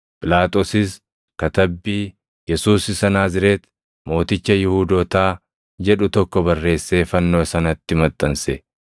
Phiilaaxoosis Katabbii, Yesuus Isa Naazreeti, Mooticha Yihuudootaa, jedhu tokko barreessee fannoo sanatti maxxanse.